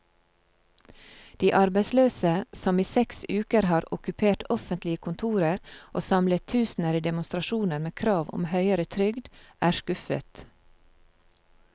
De arbeidsløse, som i seks uker har okkupert offentlige kontorer og samlet tusener i demonstrasjoner med krav om høyere trygd, er skuffet.